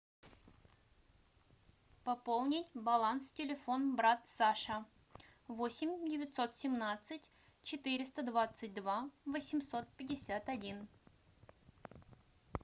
пополнить баланс телефон брат саша восемь девятьсот семнадцать четыреста двадцать два восемьсот пятьдесят один